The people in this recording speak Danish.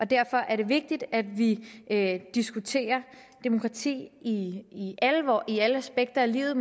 derfor er det vigtigt at vi diskuterer demokrati i alle aspekter af livet